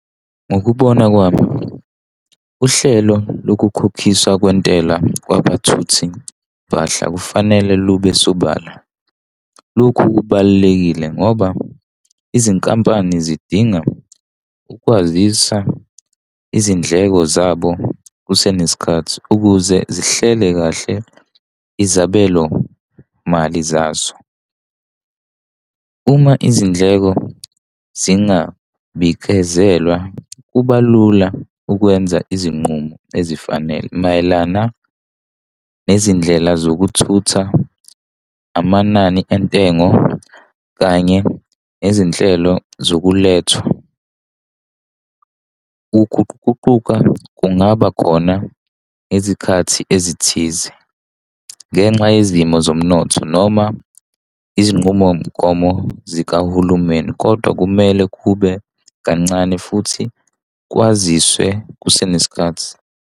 Ngokubona kwami uhlelo lokukhokhiswa kwentela kwabathuthimpahla kufanele lube sobala. Lokhu kubalulekile ngoba izinkampani zidinga ukwazisa izindleko zabo kusenesikhathi, ukuze zihlele kahle izabelo mali zaso. Uma izindleko zingabikezelwa, kuba lula ukwenza izinqumo ezifanele mayelana nezindlela zokuthutha, amanani entengo kanye nezinhlelo zokulethwa. Ukuguquguquka kungaba khona ngezikhathi ezithize ngenxa yezimo zomnotho noma izinqumomgomo zikahulumeni, kodwa kumele kube kancane futhi kwaziswe kusenesikhathi.